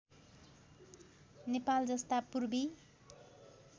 नेपाल जस्ता पूर्वी